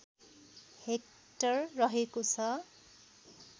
hectare रहेको छ